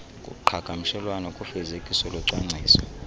kuqhagamshelwano kufezekiso locwangciso